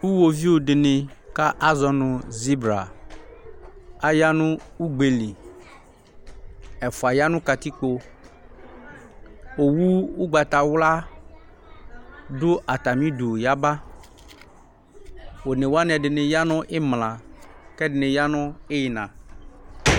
Uɣoviu dɩnɩ bʋa kʋ azɔ nʋ zibra aya nʋ ugbe li Ɛfʋa ya nʋ katikpo Owu ʋgbatawla dʋ atamɩdu yaba One wanɩ, ɛdɩnɩ ya nʋ ɩmla kʋ ɛdɩnɩ ya nʋ ɩɣɩna